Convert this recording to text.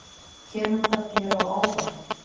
Kemur það þér á óvart?